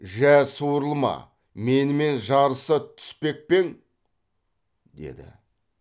жә суырылма менімен жарыса түспек пе ең деді